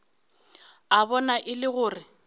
a bona e le gore